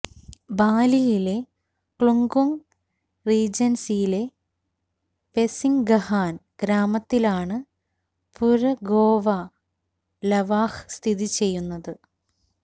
ബാലിയിലെ Klungkung റീജൻസിയിലെ പെസിൻഗ്ഗഹാൻ ഗ്രാമത്തിലാണ് പുര ഗോവ ലവാഹ് സ്ഥിതിചെയ്യുന്നത്